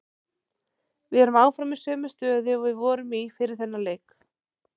Við erum áfram í sömu stöðu og við vorum í fyrir þennan leik.